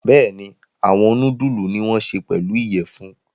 Bẹ́ẹ̀ni, awọn nudulu ni won ṣe pelu iyẹfun